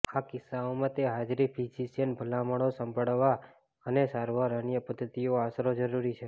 આ કિસ્સાઓમાં તે હાજરી ફિઝિશિયન ભલામણો સાંભળવા અને સારવાર અન્ય પદ્ધતિઓ આશરો જરૂરી છે